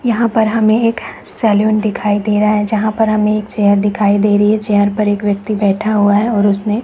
यहाँ पर हमे एक सैलून दिखाई दे रहा है जहां पर हमे एक चेयर दिखाई दे रही है चेयर पर एक व्यक्ति बैठा हुआ है और उसमे--